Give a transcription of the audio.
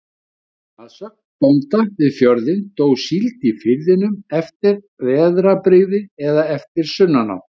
Að sögn bónda við fjörðinn, dó síld í firðinum eftir veðrabrigði eða eftir sunnanátt.